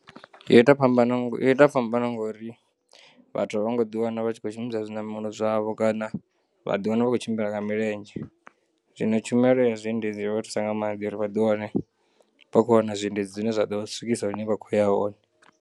Yo ita phambano ngo yo ita phambano ngori vhathu a vhongo ḓiwana vhatshi kho shumisa zwi namela zwavho kana vha ḓiwana vhakho tshimbila nga milenzhe, zwino tshumelo ya zwi endedzi yo vhathusa nga maanḓa uri vha ḓiwane vha khou wana zwiendedzi zwine zwa ḓo vha swikisa hune vha khouya hone.